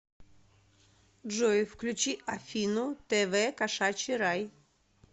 джой включи афину тэ вэ кошачий рай